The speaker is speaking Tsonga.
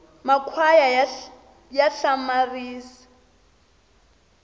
makhwaya ya hlamaria